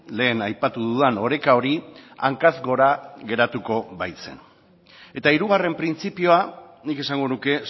lehen aipatu dudan oreka hori hankaz gora geratuko baitzen eta hirugarren printzipioa nik esango nuke